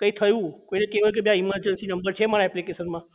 કઈ થયું કોઈ ને કહેવાય કે ભાઈ emergency number છે મારી application માં